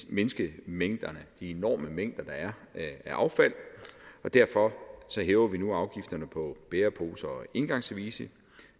mindske de enorme mængder der er af affald og derfor hæver vi nu afgifterne på bæreposer og engangsservice